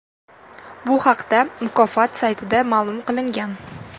Bu haqda mukofot saytida ma’lum qilingan .